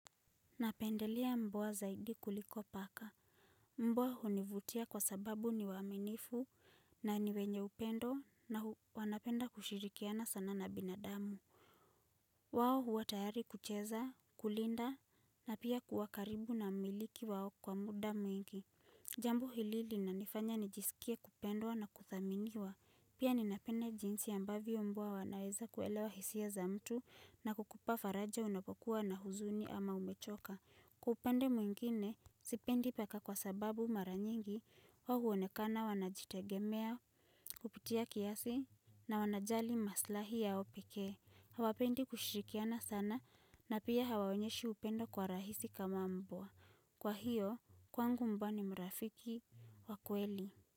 Napendelea mbwa zaidi kuliko paka. Mbwa hunivutia kwa sababu, ni waaminifu na ni wenye upendo na wanapenda kushirikiana sana na binadamu. Wao huwa tayari kucheza, kulinda na pia kuwakaribu na mmiliki wao kwa muda mwingi. Jambo hili linanifanya nijisikie kupendwa na kudhaminiwa. Pia ninapenda jinsi ambavyo mbwa wanaweza kuelewa hisia za mtu, na kukupa faraja unapokuwa na huzuni ama umechoka. Kwa upande mwingine, sipendi paka kwa sababu mara nyingi wao huonekana wanajitegemea kupitia kiasi na wanajali maslahi ya pekee. Hawapendi kushirikiana sana, na pia hawaonyeshi upendo kwa rahisi kama mbwa. Kwa hiyo, kwangu mbwa ni mrafiki wa kweli.